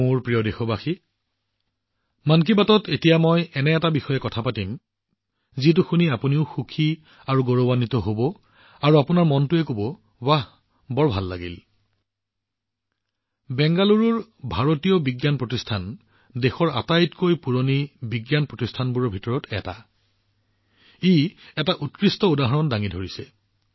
মোৰ মৰমৰ দেশবাসীসকল এতিয়া মন কী বাতত মই এটা বিষয়ত কথা পাতিম যত আপোনালোকে আনন্দ আৰু গৌৰৱ অনুভৱ কৰিব আৰু আপোনালোকৰ মনটোৱে কৈ উঠিব ৱাহ কি আনন্দ দেশৰ আটাইতকৈ পুৰণি বিজ্ঞান প্ৰতিষ্ঠানসমূহৰ ভিতৰত অন্যতম ভাৰতীয় বিজ্ঞান প্ৰতিষ্ঠান বাংগালোৰ অৰ্থাৎ আইআইএছচিয়ে এক আশ্চৰ্যকৰ উদাহৰণ উপস্থাপন কৰিছে